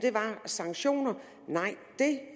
sanktioner